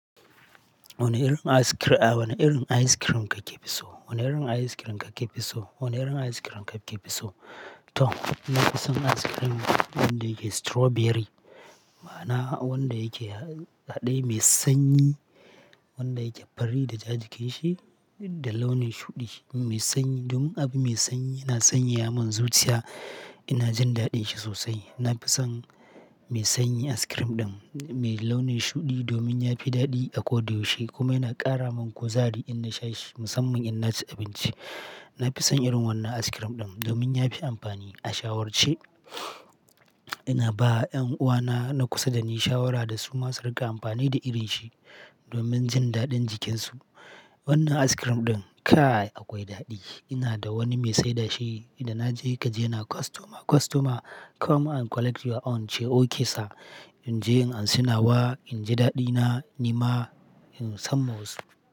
Wane irin ice crea, a wane irin ice cream kake fi so? Wane irin ice cream kake fi so? Wane irin ice cream kake fi so? To, na fi son ice cream wanda yake strawberry. Ma'ana wanda yake haɗe mai sanyi, wanda yake fari da ja jikinshi da launin shuɗi mai sanyi. Domin abu mai sanyi yana sanyaya mun zuciya, ina jin daɗin shi sosai. Na fi son mai sanyi ice cream ɗin mai launin shuɗi domin ya fi daɗi a ko da yaushe kuma yana ƙara min kuzari in na sha shi musamman in na ci abinci. Na fi son irin wannan ice cream ɗin domin ya fi amfani. A shawarce, ina ba 'yan uwana na kusa da ni shawara da su ma su riƙa amfani da irin shi domin jin daɗin jikinsu. Wannan ice cream ɗin kaii akwai daɗi. Ina da wani mai saida shi, da na je kaji yana "Customer, customer come and collect your own", ce "Okay sir". In je in anshi nawa, in ji daɗina nima in samma wasu.